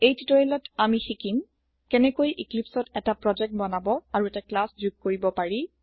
এই টিউটৰিয়েলত আমি শিকিম কেনেকৈ ইক্লিপ্চত এটা প্ৰজেক্ট বনাব আৰু এটা ক্লাছ যোগ কৰিব পাৰি